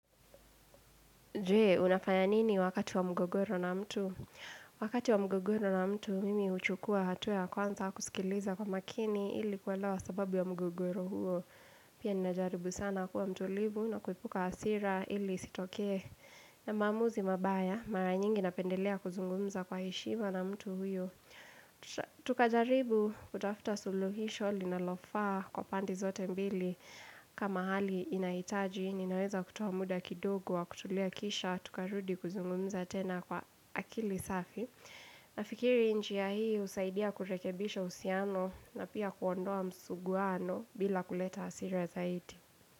Jee, unafaya nini wakati wa mgogoro na mtu? Wakati wa mgogoro na mtu, mimi uchukua hatua ya kwanza kusikiliza kwa makini ili kuelewa sababu wa mgogoro huo. Pia ninajaribu sana kuwa mtulivu na kuepuka hasira ili isitokee na maamuzi mabaya. Mara nyingi napendelea kuzungumza kwa heshima na mtu huyo. Tukajaribu kutafuta suluhisho linalofaa kwa pande zote mbili. Kama hali inaitaji, ninaweza kutoa muda kidogo wa kutulia kisha, tukarudi kuzungumza tena kwa akili safi. Nafikiri njia hii husaidia kurekebisha uhusiano na pia kuondoa msuguano bila kuleta hasira zaidi.